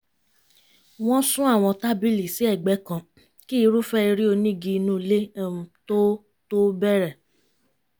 wọ́n sún àwọn tábìlì sí ẹ̀gbẹ́ kan kí irúfẹ́ eré onígi inú ilé um tó tó bẹ̀rẹ̀